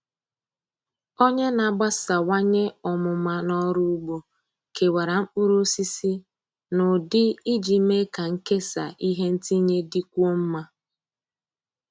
Onye na-agbasawanye ọmụma n’ọrụ ugbo kewara mkpụrụosisi n’ụdị iji mee ka nkesa ihe ntinye dịkwuo mma.